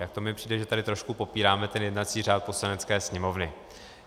Tak to mi přijde, že tady trošku popíráme ten jednací řád Poslanecké sněmovny.